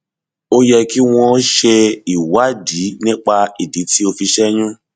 ó yẹ kí wọn ṣe ìwádìí nípa ìdí tí o fi ṣẹyún